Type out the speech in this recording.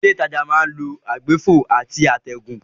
Ilé ìtajà máa ń lo àwọn àgbéfò àti àtẹ̀gùn.